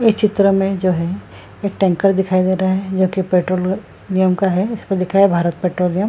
ये चित्र में जो है एक टैंकर दिखाई दे रहा है जो की पेट्रोलियम का है। इसमें लिखा है भारत पेट्रोलियम ।